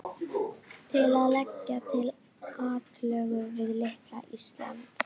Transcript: Til að leggja til atlögu við litla Ísland?